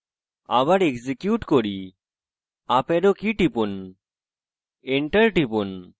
আবার execute key up arrow key টিপুন enter টিপুন